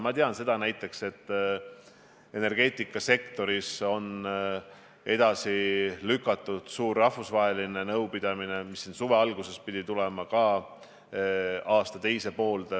Ma tean ka, et energeetikasektoris on edasi lükatud suur rahvusvaheline nõupidamine, mis suve alguses pidi tulema, aasta teise poolde.